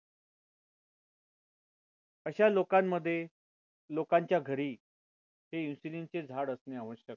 अशा लोकांमध्ये लोकांच्या घरी हे insulin चे झाड असणे आवश्यक आहे